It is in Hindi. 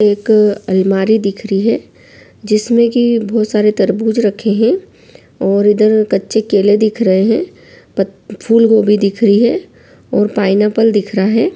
एक अलमारी दिख रही है जिसमें की बहुत सारे तरबूज़ रखे हैं और इधर कच्चे केले दिख रहे हैं फूल गोभी दिख रही है और पाइनएप्पल दिख रहा है।